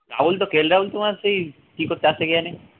রাহুল তো কে এর রাহুল তো সেই কী করতে আসে কে জানে